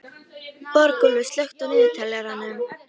Borgúlfur, slökktu á niðurteljaranum.